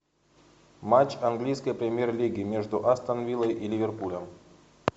матч английской премьер лиги между астон виллой и ливерпулем